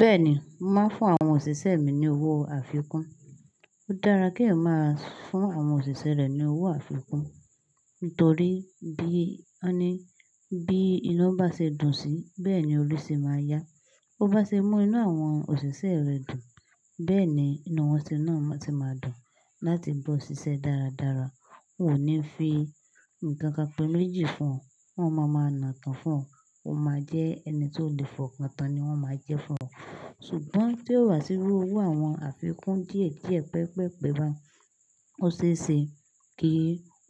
Bẹ́ẹ̀ni, màá fún àwọn òṣìṣẹ́ mi ní owó àfikún. Ó dára kí ẹ máa fún àwọn òṣìṣẹ́ rẹ ní owó àfikún, nítorí bí a ní, bí iná bá ṣe dùn sí, bẹ́ẹ̀ ni olú sì máa yá. Ó bá ṣe mú inú àwọn òṣìṣẹ́ rẹ dùn, bẹ́ẹ̀ ni inú wọn sì náà tí máa dùn láti bá ọ ṣiṣẹ́ dáradára. Wọn ò ní fi ǹkan kan pẹ́ maji fún ọ, wọ́n máa ma nà tán fún ọ, o máa jẹ́ ẹni tí ó lè fọkatàn ni wọ́n máa jẹ́ fún ọ. Ṣùgbọ́n tí ó wá síwájú owó àwọn àfikún díẹ̀ díẹ̀, pẹpẹ́ pẹpẹ́ bá ọ ṣéṣe kí